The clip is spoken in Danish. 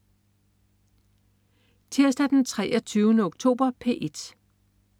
Tirsdag den 23. oktober - P1: